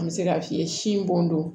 An bɛ se k'a f'i ye sin bon don